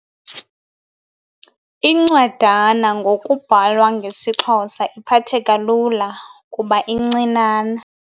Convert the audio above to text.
Incwadana ngokubhalwa ngesiXhosa iphatheka lula kuba incinane.